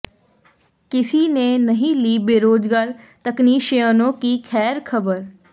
किसी ने नहीं ली बेरोजगार तकनीशियनों की खैर खबर